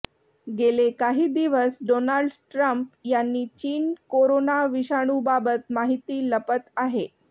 गेले काही दिवस डोनाल्ड ट्रम्प यांनी चीन कोरोना विषाणूबाबत माहिती लपत आहे